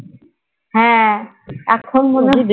হ্যাঁ এখন